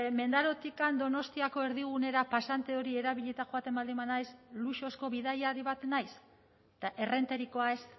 mendarotik donostiako erdigunera pasante hori erabilita joaten baldin banaiz luxuzko bidaiari bat naiz eta errenterikoa ez